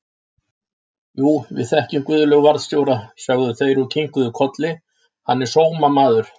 Jú, við þekkjum Guðlaug varðstjóra, sögðu þeir og kinkuðu kolli, hann er sómamaður!